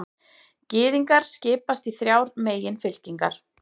Gyðingar skipast í þrjár meginfylkingar.